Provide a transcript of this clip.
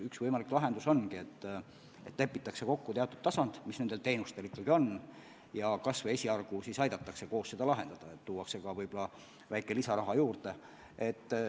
Üks võimalik lahendus on, et nende teenuste puhul lepitakse kokku teatud palgatasand ja kas või esialgu aidatakse seda probleemi koos lahendada, antakse võib-olla ka väike lisaraha juurde.